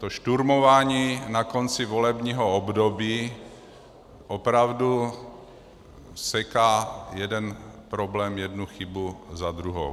To šturmování na konci volebního období opravdu seká jeden problém, jednu chybu za druhou.